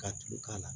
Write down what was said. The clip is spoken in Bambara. Ka tulu k'a la